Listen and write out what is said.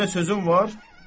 Yenə sözüm var?